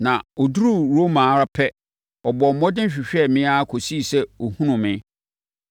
na ɔduruu Roma ara pɛ, ɔbɔɔ mmɔden hwehwɛɛ me ara kɔsii sɛ ɔhunuu me.